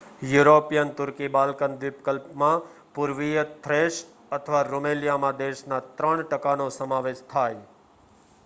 European તુર્કી Balkan દ્વીપકલ્પમાં પુર્વીય થ્રેસ અથવા રૂમેલિયા માં દેશનાં 3% નો સમાવેશ થાય